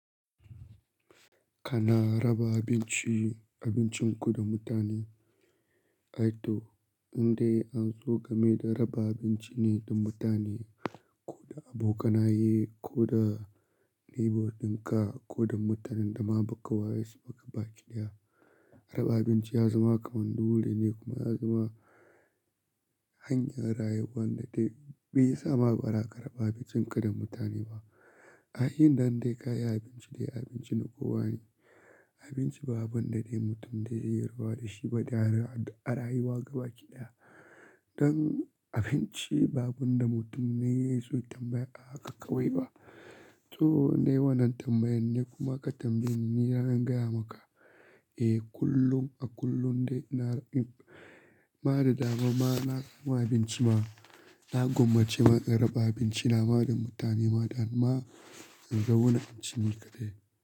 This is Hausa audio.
Kana raba abinci, abincinku da mutane? Aito, inda anzo game da raba abinci ne don mutane, ko da abokanaye, ko da neighbor dinka, ko da mutanen da ma ba ka wayesu ba ka baƙi daya. Raba abinci ya zama kamar dole ne kuma ya zama hanyar rayuwa wanda bai sa ma bara ka raba abincinka da mutane ba. Ai inda dai ka yi abinci dai abinci na kowa ne. Abinci ba abun da dai mutum da ya yi ruba da shi ba da arayuwa gaba ki daya. Don abinci ba abun da mutane su tambaya aka kawo yi ba. To nei wannan tambayan ne kuma ka tambayi ni na gaya maka, eh kullum a kullum dai na yi ma da dama ma na yi ma abinci ma na gwammace ma in raba abinci na ma da mutane ma da ma in ga wannan abincin ka dai.